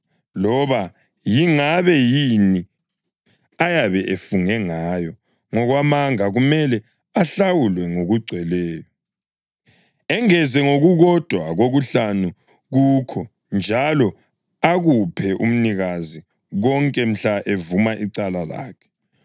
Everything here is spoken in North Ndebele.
loba yingabe yini ayabe efunge ngayo ngokwamanga kumele ahlawule ngokugcweleyo, engeze ngokukodwa kokuhlanu kukho njalo akuphe umnikazi konke mhla evuma icala lakhe.